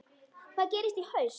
Hvað gerist í haust?